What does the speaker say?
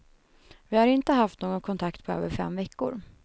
Vi har inte haft någon kontakt på över fem veckor.